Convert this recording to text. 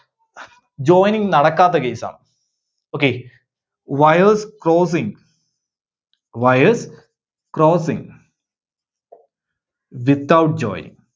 Joining നടക്കാത്ത case ആണ്. Okay, Wires crossing wires crossing without joining.